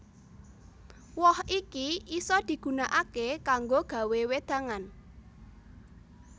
Woh iki isa digunakaké kanggo gawé wédangan